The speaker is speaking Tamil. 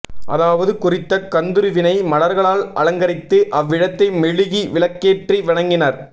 அதாவது குறித்த கந்துருவினை மலர்களால் அலங்கரித்து அவ்விடத்தை மெழுகி விளக்கேற்றி வணங்கினர்